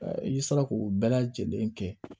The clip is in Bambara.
I sera k'o bɛɛ lajɛlen kɛ